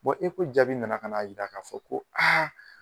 jaabi nana kan' yira ka fɔ ko